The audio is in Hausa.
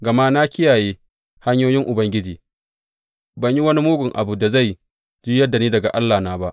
Gama na kiyaye hanyoyin Ubangiji; ban yi wani mugun abu da zai juyar da ni daga Allahna ba.